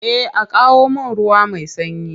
Eh a kawo mun ruwa mai sanyi.